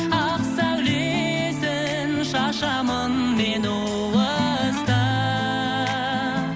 ақ сәулесін шашамын мен уыстап